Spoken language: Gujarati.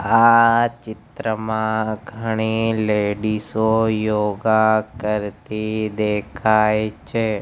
આ ચિત્રમાં ઘણી લેડીસ ઑ યોગા કરતી દેખાય છે.